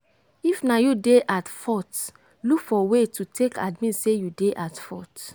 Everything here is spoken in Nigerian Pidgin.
if na you dey at fault look for way to take admit sey you dey at fault